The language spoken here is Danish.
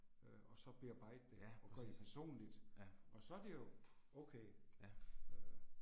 Øh og så bearbejde det og gøre det personligt og så er det jo okay. Øh